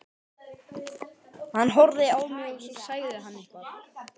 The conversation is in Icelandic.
Hann horfði á mig og svo sagði hann eitthvað.